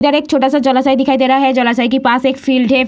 ईधर एक छोटा-सा जलाशय दिखाई दे रहा है जलाशय के पास एक फील्ड है।